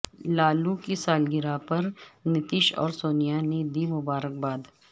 لالو کی سالگرہ پر نتیش اور سونیا نے دی مبارکباد